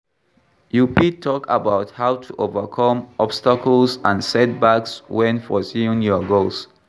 You fit talk about how to overcome obstacles and setbacks when pursuing your goals.